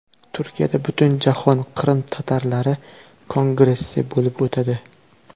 Turkiyada Butunjahon qrim-tatarlari kongressi bo‘lib o‘tadi.